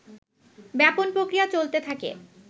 ব্যাপন প্রক্রিয়া চলতে থাকে